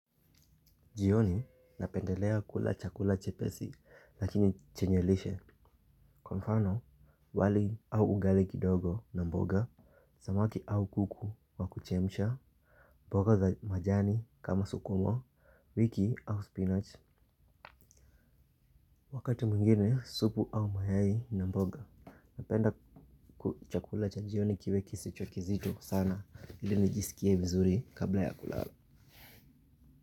Jioni napendelea kula chakula chepesi lakini chenye lishe. Kwa mfano wali au ugali kidogo na mboga, samaki au kuku wa kuchemsha, mboga za majani kama sukuma, wiki au spinach. Wakati mwingine supu au mayai na mboga. Napenda chakula cha jioni kiwe kisicho kizito sana ili nijisikie vizuri kabla ya kulala.